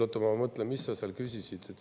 Oota, ma mõtlen, mis sa küsisid.